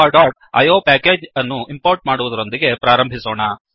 javaಇಯೋ package ಅನ್ನು import ಮಾಡುವದರೊಂದಿಗೆ ಪ್ರಾರಂಭಿಸೋಣ